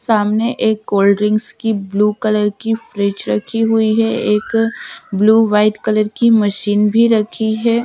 सामने एक cold drinks blue colour की फ्रिज रखी हुई है एक ब्लू वाइट कलर की मशीन भी रखी है।